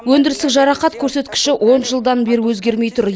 өндірістік жарақат көрсеткіші он жылдан бері өзгермей тұр